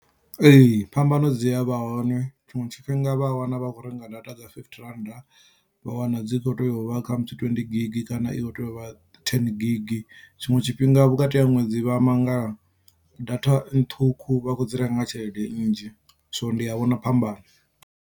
Ee phambano dzi a vha hone tshiṅwe tshifhinga vha wana vha khou renga data dza fifty rand vha wana dzi kho tea uvha khamusi twenty gig kana i kho tea u vha ten gig tshiṅwe tshifhinga vhukati ha ṅwedzi vha mangala data ṱhukhu vha khou dzi renga nga tshelede nnzhi so ndi a vhona phambano.